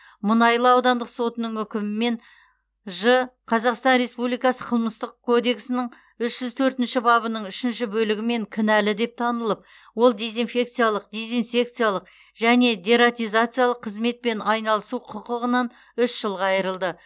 мұнайлы аудандық сотының үкімімен ж қазақстан республикасы қылмыстық кодексінің үш жүз төртінші бабының үшінші бөлігімен кінәлі деп танылып ол дезинфекциялық дезинсекциялық және дератизациялық қызметпен айналысу құқығынан үш жылға айырылды